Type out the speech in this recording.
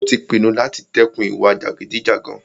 Ó tí pinnu láti dẹ́kun ìwà jàgídíjàgan.